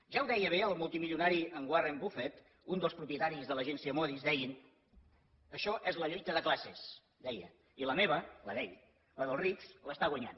ja ho deia bé el multimilionari en warren buffett un dels propietaris de l’agència moody’s deia això és la lluita de classes deia i la meva la d’ell la dels rics l’està guanyant